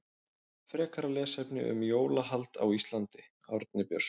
Frekara lesefni um jólahald á Íslandi Árni Björnsson.